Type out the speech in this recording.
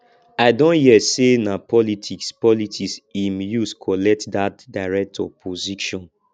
i don hear sey na politics politics im use collect dat director position